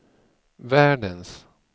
världens